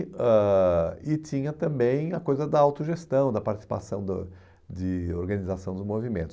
ãh e tinha também a coisa da autogestão, da participação da de organização dos movimentos.